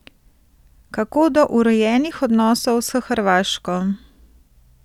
Kako do urejenih odnosov s Hrvaško?